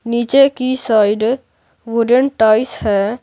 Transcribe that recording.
नीचे की side wooden ties है।